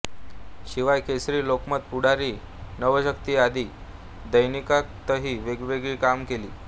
शिवाय केसरी लोकमत पुढारी नवशक्ती आदी दैनिकांतही वेळोवेळी काम केले